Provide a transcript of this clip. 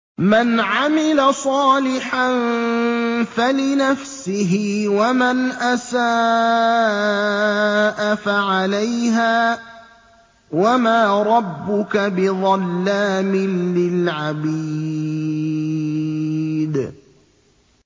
مَّنْ عَمِلَ صَالِحًا فَلِنَفْسِهِ ۖ وَمَنْ أَسَاءَ فَعَلَيْهَا ۗ وَمَا رَبُّكَ بِظَلَّامٍ لِّلْعَبِيدِ